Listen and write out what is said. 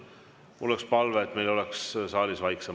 Mul on palve, et meil oleks saalis vaiksem.